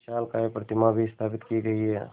विशालकाय प्रतिमा भी स्थापित की गई है